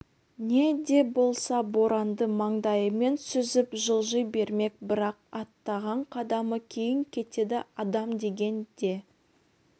не де болса боранды маңдайымен сүзіп жылжи бермек бірақ аттаған қадамы кейін кетеді адам деген де